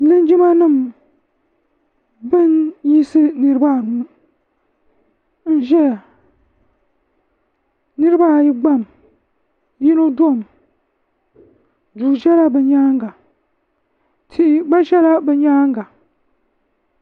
linjima nim bin yiɣisi niraba anu n ʒɛya niraba ayi gbami yino domi duu ʒɛla bi nyaanga tia gba ʒɛla bi nyaanga